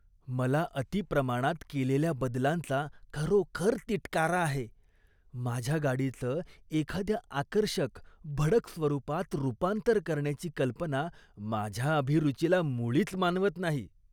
मला अती प्रमाणात केलेल्या बदलांचा खरोखर तिटकारा आहे. माझ्या गाडीचं एखाद्या आकर्षक, भडक स्वरूपात रूपांतर करण्याची कल्पना माझ्या अभिरुचीला मुळीच मानवत नाही.